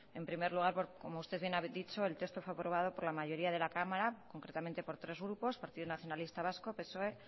en primer lugar como usted bien ha dicho el texto fue aprobado por la mayoría de la cámara concretamente por tres grupos partido nacionalista vasco psoe